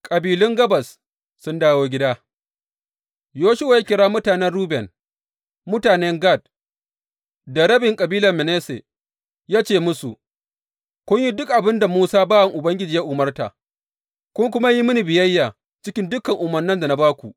Kabilun gabas sun dawo gida Yoshuwa ya kira mutanen Ruben, mutanen Gad, da rabin kabilar Manasse ya ce musu, Kun yi duk abin da Musa bawan Ubangiji ya umarta, kun kuma yi mini biyayya cikin dukan umarnan da na ba ku.